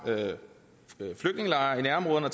flygtningelejre i nærområderne og